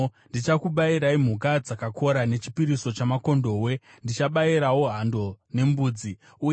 Ndichakubayirai mhuka dzakakora nechipiriso chamakondobwe; ndichabayirawo hando nembudzi. Sera